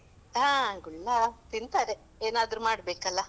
ಹಾ, ಗುಳ್ಳ ತಿಂತಾರೆ ಏನಾದ್ರು ಮಾಡ್ಬೇಕಲ್ಲ.